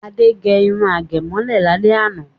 Ade gẹ irun àgẹ̀mọ́lẹ̀ lálẹ́ àná.